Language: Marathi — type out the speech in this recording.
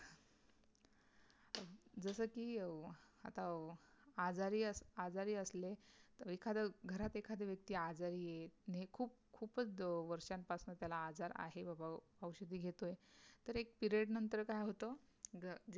जस की अं आता अं आजारी असं आजारी असले तर एखाद घरात एखादी व्यक्ती आजारी आहे, खुप खूपच वर्षांपासून त्याला आजार आहे बाबा औषधे घेतोय तर एक period नंतर काय होत